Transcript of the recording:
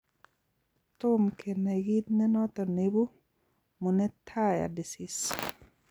Tom kenai kiiit nenotok neibu menetrier disease